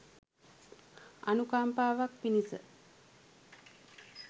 අනුකම්පාවක් පිණිස